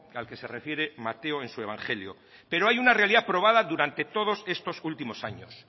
al que se refiere mateo en su evangelio pero hay una realidad probada durante todos estos últimos años